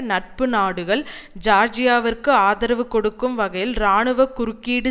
நட்பு நாடுகள் ஜியார்ஜியாவிற்கு ஆதரவு கொடுக்கும் வகையில் இராணுவ குறுக்கீடு